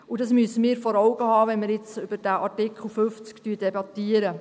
Das müssen wir uns vor Augen halten, wenn wir jetzt über diesen Artikel 50 debattieren.